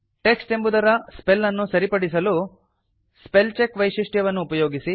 text ಎಂಬುದರ spell ಅನ್ನು ಸರಿಪಡಿಸಲು ಸ್ಪೆಲ್ಚೆಕ್ ವೈಶಿಷ್ಟ್ಯವನ್ನು ಉಪಯೋಗಿಸಿ